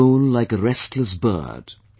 But the soul like a restless bird